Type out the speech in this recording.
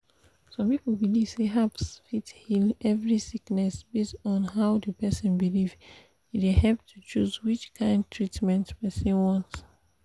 some people believe say herbs fit heal every sickness based on how the person believe e dey help to choose which kind treatment person want.